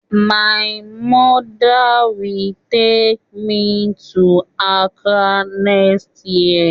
My mother will take me to Accra next year